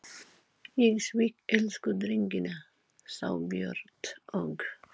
Ég svík elsku drengina, þá Björn og